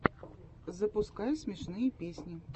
запускай смешные песни